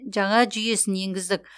жаңа жүйесін енгіздік